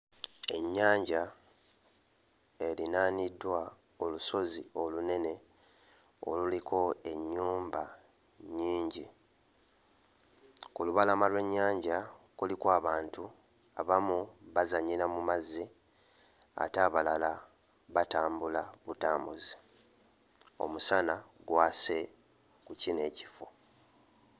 Ennyanja erinaaniddwa olusozi olunene oluliko ennyumba nnyingi, ku lubalama lw'ennyanja kuliko abantu abamu bazannyira mu mazzi ate abalala batambula butambuzi, omusana gwase mu kino ekifo.